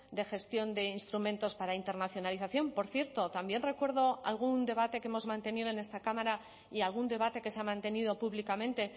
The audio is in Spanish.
de gestión de instrumentos para internacionalización por cierto también recuerdo algún debate que hemos mantenido en esta cámara y algún debate que se ha mantenido públicamente